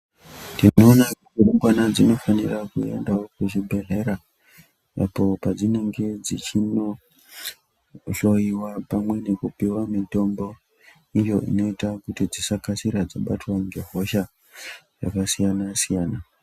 Tinoona kuti rumbwana dzinofanira kuendawo ku zvibhedhlera apo padzinenge dzichino hloyiwa pamwe neku pihwa mitombo iyo inooita kuti dzisakasira dzabatwa nge hosha yaka siyana siyana.